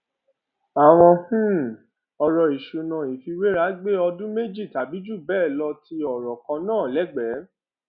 àwọn um ọrọ ìṣúná ìfiwéra gbé ọdún méjì tàbí jù bẹẹ lọ ti ọrọ kan náà lẹgbẹẹ